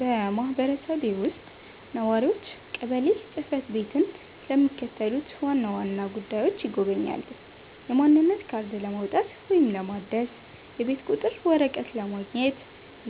በማህበረሰቤ ውስጥ ነዋሪዎች ቀበሌ ጽ/ቤትን ለሚከተሉት ዋና ዋና ጉዳዮች ይጎበኛሉ፦ የማንነት ካርድ ለማውጣት ወይም ለማደስ፣ የቤት ቁጥር ወረቀት ማግኘት፣